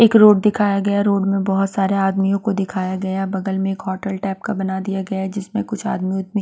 एक रोड दिखाया गया रोड में बहुत सारे आदमियों को दिखाया गया बगल में एक होटल टाइप का बना दिया गया जिसमें कुछ आदमी वुदमी --